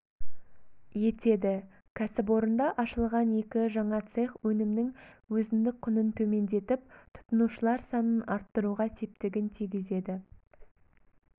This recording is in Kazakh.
етеді кәсіпорында ашылған екі жаңа цех өнімнің өзіндік құнын төмендетіп тұтынушылар санын арттыруға септігін тигізеді